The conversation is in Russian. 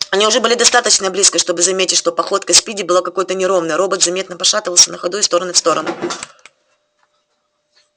они уже были достаточно близко чтобы заметить что походка спиди была какой-то неровной робот заметно пошатывался на ходу из стороны в сторону